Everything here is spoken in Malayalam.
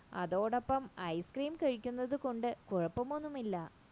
അതോടൊപ്പം ice cream കഴിക്കുന്നത് കൊണ്ട് കുഴപ്പമൊന്നുമില്ല